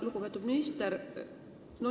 Lugupeetud minister!